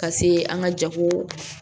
Ka se an ka jago